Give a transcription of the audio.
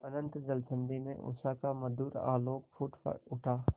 अनंत जलनिधि में उषा का मधुर आलोक फूट उठा